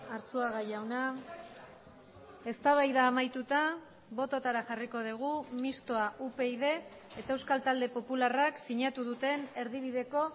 arzuaga jauna eztabaida amaituta bototara jarriko dugu mistoa upyd eta euskal talde popularrak sinatu duten erdibideko